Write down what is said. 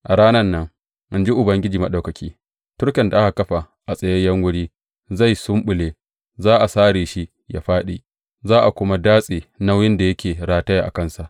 A ranan nan, in ji Ubangiji Maɗaukaki, turken da aka kafa a tsayayyen wuri zai sumɓule; za a sare shi ya fāɗi, za a kuma datse nauyin da yake rataya a kansa.